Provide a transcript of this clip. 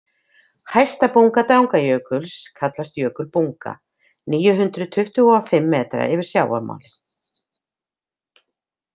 Hæsta bunga Drangajökuls kallast Jökulbunga, níu hundruð tuttugu og fimm metra yfir sjávarmáli.